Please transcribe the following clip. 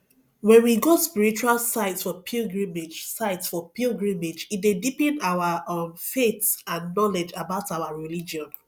when we go spiritual sites for pilgrimage sites for pilgrimage e dey deepen our um faith and knowledge about our religion